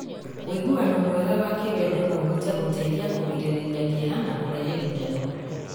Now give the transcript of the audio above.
Ũiguano mwega wa kĩwendo no ũhote gũteithia kũgirĩrĩria kĩeha na kũrehe gĩkeno.